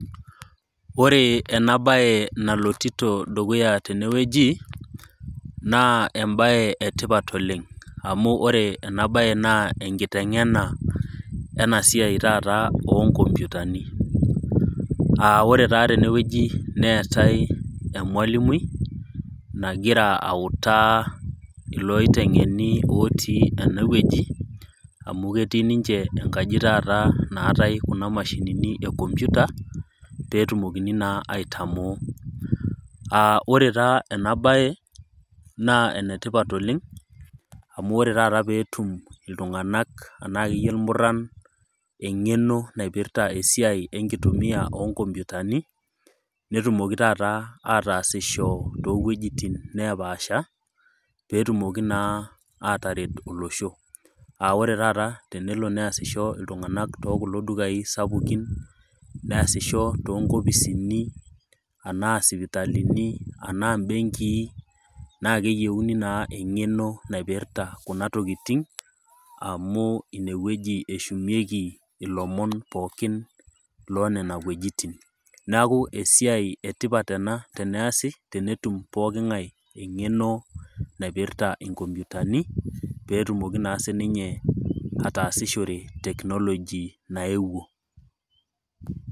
Oree ena baye nalotito dukuya tenewueji naa embaye etipat oleng'. Amu ore enabaye naa enkiteng'ena enasiai taata oonkompyutani. [Aa] ore taa tenewueji neetai emwalimui nagira autaa ilooiteng'eni otii enewueji amu ketii ninche enkaji taata naatai kuna mashinini e kompyuta peetumokini naa aitamoo. [Aa] ore taa enabaye naa enetipat oleng' amu ore tata peetum iltung'anak anaakeyie ilmurran eng'eno naipirta esiai enkitumia oonkompyutani netumoki tataa ataasisho toowuejitin nepaasha petumoki naa ataret olosho. [Aa] ore tata tenelo neasisho iltung'anak tookulo dukai sapaukin, neasisho toonkopisini anaa sipitalini anaa mbenkii naakeyeuni naa eng'eno naipirta kuna tokitin amu inewueji eshumieki ilomon pookin loo nena wuejitin. Neaku esiai etipat ena teneasi tenetum pooking'ai eng'eno naipirta inkompyutani peetumoki sininye ataasishore  teknoloji naewuo.